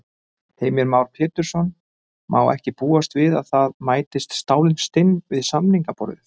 Heimir Már Pétursson: Má ekki búast við að það mætist stálin stinn við samningaborðið?